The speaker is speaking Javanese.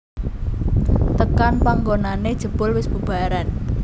Tekan panggonané jebul wis bubaran